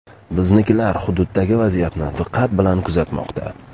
Biznikilar hududdagi vaziyatni diqqat bilan kuzatmoqda.